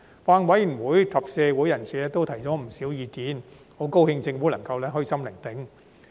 法案委員會及社會人士均提出不少意見，我很高興政府能夠虛心聆聽。